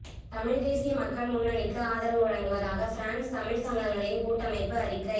தமிழ் தேசிய மக்கள் முன்னனிக்கு ஆதரவு வழங்குவதாக பிரான்ஸ் தமிழ் சங்கங்களின் கூட்டமைப்பு அறிக்கை